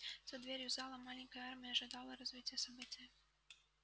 за дверью зала маленькая армия ожидала развития события